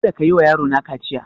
Kada kayi wa yaro na kaciya!